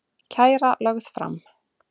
Kæra lögð fram